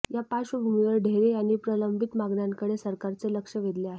या पार्श्वभूमीवर ढेरे यांनी प्रलंबित मागण्यांकडे सरकारचे लक्ष वेधले आहे